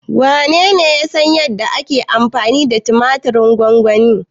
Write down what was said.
Wanene ya san yadda ake amfani da tumatirin gwamgwani?